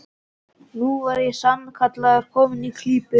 Nú var ég sannarlega kominn í klípu!